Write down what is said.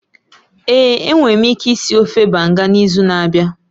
Ee, enwere m ike ịsị ofe Banga n'izu na-abịa